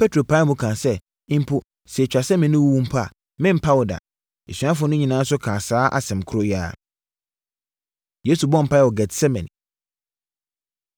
Petro pae mu kaa sɛ, “Mpo sɛ ɛtwa sɛ me ne wo wu a, merempa wo da!” Asuafoɔ no nyinaa nso kaa saa asɛm korɔ yi ara. Yesu Bɔ Mpaeɛ Wɔ Getsemane